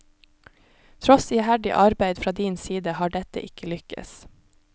Tross iherdig arbeid fra din side har dette ikke lykkes.